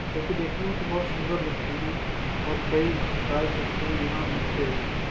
जो कि देखने में तो बहुत ही सुंदर लगती है और कई प्रकार के फूल यहाँ मिलते भी हैं।